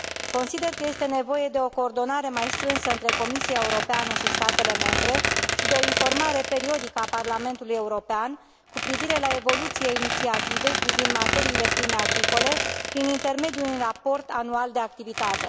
Consider că este nevoie de o coordonare mai strânsă între Comisia Europeană și statele membre și de o informare periodică a Parlamentului European cu privire la evoluția inițiativei privind materiile prime agricole, prin intermediul unui raport anual de activitate.